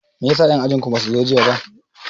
Meyasa en ajin ku basu zo jiya ba